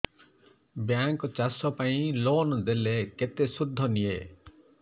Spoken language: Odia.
ବ୍ୟାଙ୍କ୍ ଚାଷ ପାଇଁ ଲୋନ୍ ଦେଲେ କେତେ ସୁଧ ନିଏ